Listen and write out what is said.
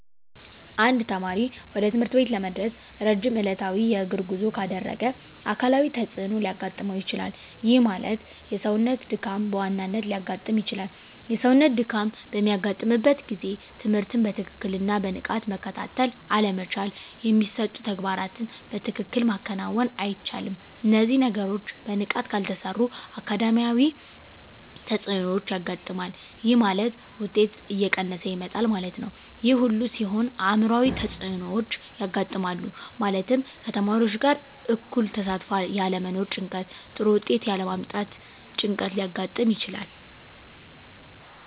አንድ ተማሪ ወደ ትምህርት ቤት ለመድረስ ረጅም ዕለታዊ የእግር ጉዞ ካደረገ አካላዊ ተፅዕኖ ሊያጋጥመው ይችላል። ይህ ማለት የሰውነት ድካም በዋናነት ሊያጋጥም ይችላል። የሰውነት ድካም በሚያጋጥምበት ጊዜ ትምህርትን በትክክልና በንቃት መከታተል አለመቻል የሚሰጡ ተግባራትን በትክክል ማከናወን አይቻልም። እነዚህ ነገሮች በንቃት ካልተሰሩ አካዳሚያዊ ተፅዕኖዎች ያጋጥማል። ይህ ማለት ውጤት እየቀነሰ ይመጣል ማለት ነው። ይህ ሁሉ ሲሆን አዕምሯዊ ተፅዕኖዎች ያጋጥማሉ። ማለትም ከተማሪዎች ጋር እኩል ተሳትፎ ያለመኖር ጭንቀት ጥሩ ውጤት ያለ ማምጣት ጭንቀት ሊያጋጥም ይችላል።